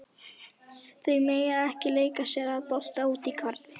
Þau mega ekki leika sér að bolta úti í garði.